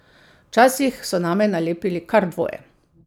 Včasih so name nalepili kar dvoje.